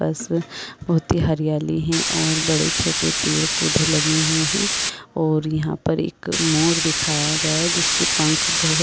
पास में बहुत ही हरयाली है और बड़े-छोटे पेड़-पौधे लगे हुए है और यहाँ पर एक मोर दिखाया गया है जिसके पंख बहुत--